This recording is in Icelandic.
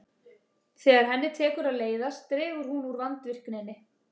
Þegar henni tekur að leiðast dregur hún úr vandvirkninni.